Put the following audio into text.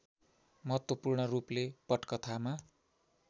महत्त्वपूर्ण रूपले पटकथामा